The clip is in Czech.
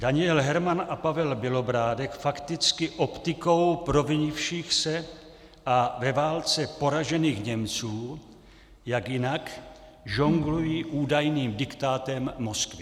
Daniel Herman a Pavel Bělobrádek fakticky optikou provinivších se a ve válce poražených Němců, jak jinak, žonglují údajným diktátem Moskvy.